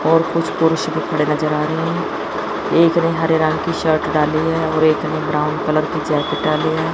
और कुछ पुरुष भी खडे नजर आ रहे हैं। एक ने हरे रंग की शर्ट डाली है और एक ने ब्राउन कलर की जैकेट डाली है।